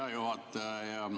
Hea juhataja!